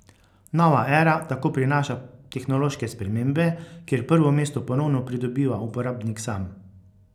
Nova era tako prinaša tehnološke spremembe, kjer prvo mesto ponovno pridobiva uporabnik sam.